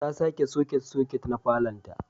ta sake soket-soket na falonta.